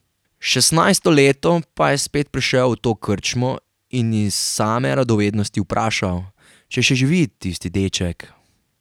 Šestnajsto leto pa je spet prišel v to krčmo in iz same radovednosti vprašal, če še živi tisti deček.